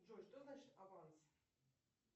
джой что значит аванс